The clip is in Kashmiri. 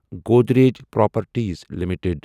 Godrej properties limited